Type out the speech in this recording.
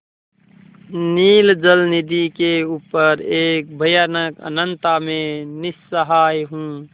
नील जलनिधि के ऊपर एक भयानक अनंतता में निस्सहाय हूँ